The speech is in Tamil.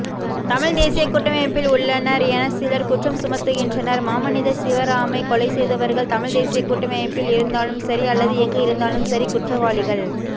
தமிழ்தேசியகூட்டமைப்பில் உள்ளனர் என சிலர் குற்றம் சுமத்துகின்றனர் மாமனிதர் சிவராமை கொலைசெய்தவர்கள் தமிழ்தேசியகூட்டமைப்பில் இருந்தாலும்சரி அல்லது எங்கு இருந்தாலும்சரி குற்றவாளிகள்